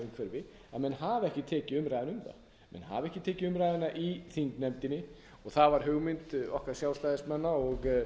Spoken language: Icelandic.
að menn hafa ekki tekið umræðuna um það menn hafa ekki tekið umræðuna í þingnefndinni og það var hugmynd okkar sjálfstæðismanna og